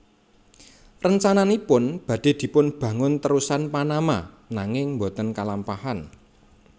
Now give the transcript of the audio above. Rencananipun badhe dipunbangun terusan Panama nanging boten kalampahan